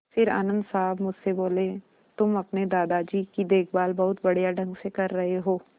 फिर आनन्द साहब मुझसे बोले तुम अपने दादाजी की देखभाल बहुत बढ़िया ढंग से कर रहे हो